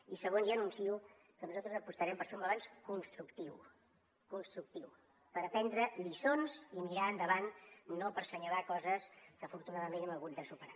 i segon ja anuncio que nosaltres apostarem per fer un balanç constructiu constructiu per aprendre lliçons i mirar endavant no per assenyalar coses que afortunadament hem hagut de superar